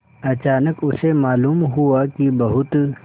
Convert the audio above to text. अचानक उसे मालूम हुआ कि बहुत